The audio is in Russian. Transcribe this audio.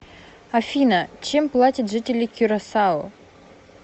афина чем платят жители кюрасао